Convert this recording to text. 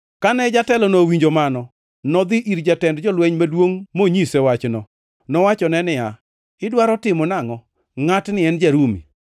Kane jatelono owinjo mano, nodhi ir jatend jolweny maduongʼ monyise wachno. Nowachone niya, “Idwaro timo nangʼo? Ngʼatni en ja-Rumi?”